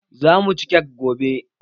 Zamu ci kek gobe